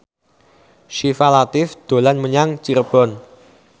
Syifa Latief dolan menyang Cirebon